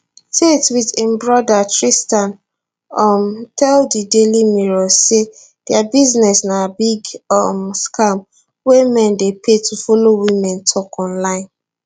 tate wit im broda tristan um tell di daily mirror say dia business na big um scam wey men dey pay to follow women tok online